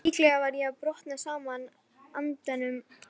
Líklega var ég að brotna saman undan álaginu.